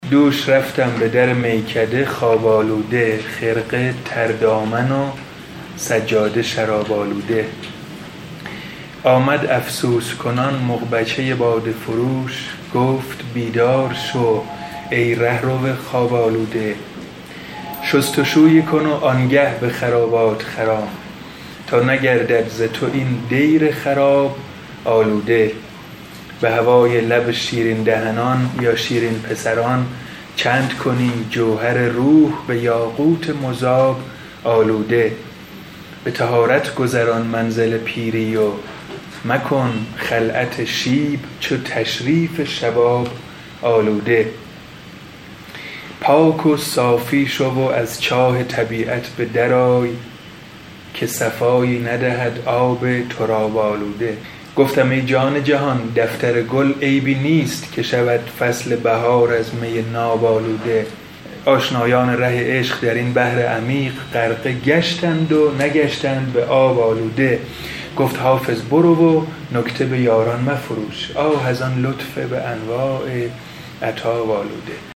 دوش رفتم به در میکده خواب آلوده خرقه تر دامن و سجاده شراب آلوده آمد افسوس کنان مغبچه باده فروش گفت بیدار شو ای رهرو خواب آلوده شست و شویی کن و آن گه به خرابات خرام تا نگردد ز تو این دیر خراب آلوده به هوای لب شیرین پسران چند کنی جوهر روح به یاقوت مذاب آلوده به طهارت گذران منزل پیری و مکن خلعت شیب چو تشریف شباب آلوده پاک و صافی شو و از چاه طبیعت به در آی که صفایی ندهد آب تراب آلوده گفتم ای جان جهان دفتر گل عیبی نیست که شود فصل بهار از می ناب آلوده آشنایان ره عشق در این بحر عمیق غرقه گشتند و نگشتند به آب آلوده گفت حافظ لغز و نکته به یاران مفروش آه از این لطف به انواع عتاب آلوده